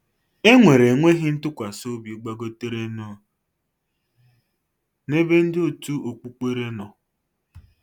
E nwere enweghị ntụkwasịobi gbagoterenụ n'ebe ndị òtù okpukpere nọ.